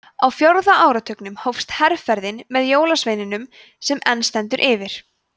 á fjórða áratugnum hófst herferðin með jólasveininum sem enn stendur yfir